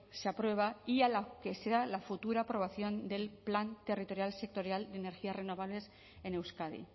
se aprueba y a la que sea la futura aprobación del plan territorial sectorial de energías renovables en euskadi